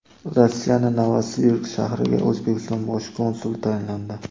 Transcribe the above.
Rossiyaning Novosibirsk shahriga O‘zbekiston bosh konsuli tayinlandi.